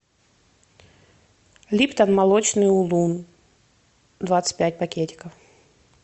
липтон молочный улун двадцать пять пакетиков